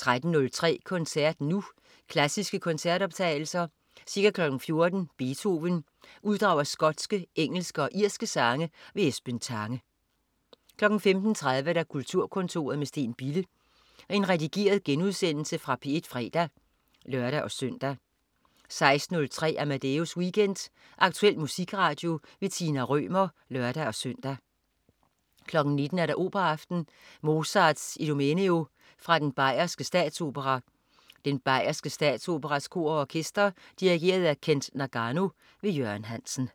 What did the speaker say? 13.03 Koncert Nu. Klassiske koncertoptagelser. Ca. 14.00 Beethoven: Uddrag af skotske, engelske og irske sange. Esben Tange 15.30 Kulturkontoret med Steen Bille. Redigeret genudsendelse fra P1 fredag (lør-søn) 16.03 Amadeus Weekend. Aktuel musikradio. Tina Rømer (lør-søn) 19.00 Operaaften. Mozarts Idomeneo. Fra den Bayerske Statsopera. Den Bayerske Statsoperas Kor og Orkester. Dirigent: Kent Nagano. Jørgen Hansen